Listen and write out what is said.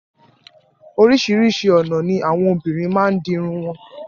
Orísìírísìí ọna ni awọn òbinrín máa ni di irun wọn.